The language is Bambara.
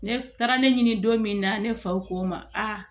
Ne taara ne ɲini don min na ne faw k'o ma a